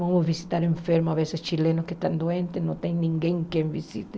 Vamos visitar enfermos, às vezes chilenos que estão doentes, não tem ninguém que visite.